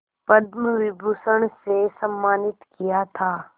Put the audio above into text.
पद्म विभूषण से सम्मानित किया था